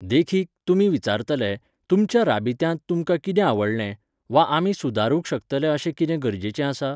देखीक, तुमी विचारतले, 'तुमच्या राबित्यांत तुमकां कितें आवडलें?' वा, 'आमी सुदारूंक शकतले अशें किदें गरजेचें आसा?